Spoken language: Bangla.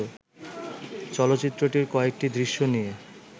চলচ্চিত্রটির কয়েকটি দৃশ্য নিয়ে